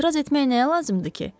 Etiraz etmək nəyə lazımdır ki?